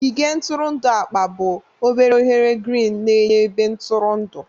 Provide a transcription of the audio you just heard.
Ogige ntụrụndụ akpa bụ obere oghere girin na-enye ebe ntụrụndụ.